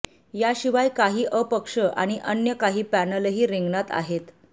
याशिवाय काही अपक्ष आणि अन्य काही पॅनलही रिंगणात आहेत